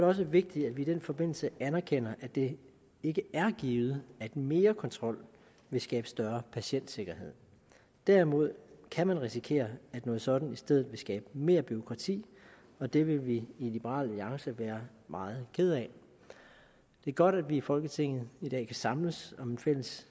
også vigtigt at vi i den forbindelse anerkender at det ikke er givet at mere kontrol vil skabe større patientsikkerhed derimod kan man risikere at noget sådant i stedet vil skabe mere bureaukrati og det vil vi i liberal alliance være meget kede af det er godt at vi i folketinget i dag kan samles om et fælles